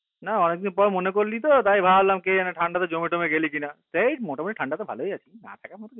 না অনেক দিন পর মনে করলি তো? তাই ভাবলাম কি জানি ঠান্ডাতে জমে তমে গেলি কিনা? হেই মোটামুটি ঠাণ্ডাতো ভালোই আছে না থাকার মতো কিছুই নেই